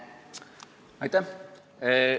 Aitäh!